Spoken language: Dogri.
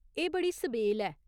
एह् बड़ी सबेल ऐ।